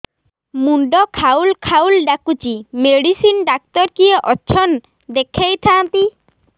ମୁଣ୍ଡ ଖାଉଲ୍ ଖାଉଲ୍ ଡାକୁଚି ମେଡିସିନ ଡାକ୍ତର କିଏ ଅଛନ୍ ଦେଖେଇ ଥାନ୍ତି